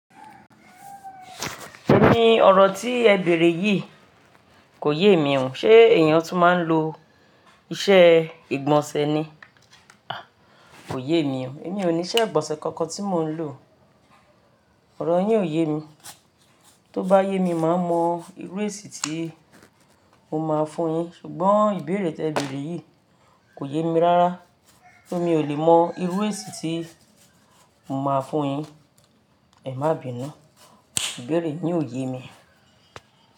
Èmi ni ọ̀rọ̀ tí ẹ bèèrè yìí kò yé mi o. Ṣé èèyàn tún máa ń lo isẹ́ ìgbọ̀nsẹ̀ ni? Haa kò yé mi o èmi ò ní ìgbonsè kankan tè mo lo. Ọ̀rọ̀ yín ò yé mi. Tó bá yé mi, màá mọ irú èsì tí mo máa fún un yín. Sùgbón ìbéèrè tí bèrè yìí kò yé mi rárá so mi ò kè mò ìwòn èsì tí mo máa fún yìí. Ẹ má bi iná. Ìbéèrè yín ò yé mi.